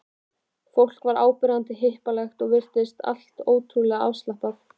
Fólk var áberandi hippalegt og allt virtist ótrúlega afslappað.